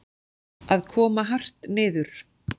Að koma hart niður